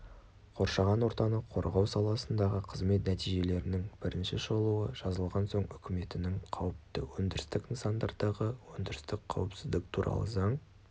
қоршаған ортаны қорғау саласындағы қызмет нәтижелерінің бірінші шолуы жазылған соң үкіметінің қауіпті өндірістік нысандардағы өндірістік қауіпсіздік туралы заң